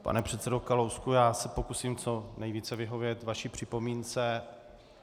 Pane předsedo Kalousku, já se pokusím co nejvíce vyhovět vaší připomínce.